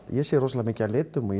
ég sé rosalega mikið af litum og